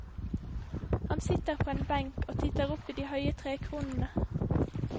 Han sitter på en benk og titter opp i de høye trekronene.